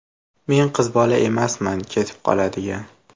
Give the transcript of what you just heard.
Men qiz bola emasman ketib qoladigan.